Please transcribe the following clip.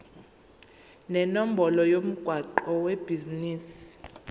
nenombolo yomgwaqo webhizinisi